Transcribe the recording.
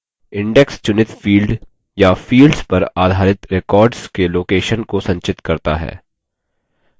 index चुनित field या fields पर आधारित records के location स्थान को संचित करता है